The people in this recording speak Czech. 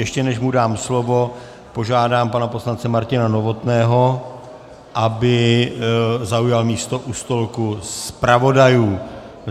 Ještě než mu dám slovo, požádám pana poslance Martina Novotného, aby zaujal místo u stolku zpravodajů.